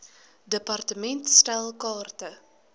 department stel kaarte